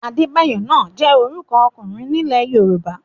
Adébáyọ náà jẹ́ orúkọ ọkùnrin nílẹ̀ Yorùbá.